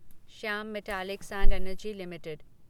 Shyam metallics and energy limited